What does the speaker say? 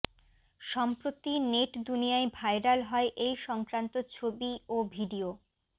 সম্প্রতি নেট দুনিয়ায় ভাইরাল হয় এই সংক্রান্ত ছবি ও ভিডিও